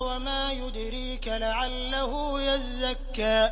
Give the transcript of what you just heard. وَمَا يُدْرِيكَ لَعَلَّهُ يَزَّكَّىٰ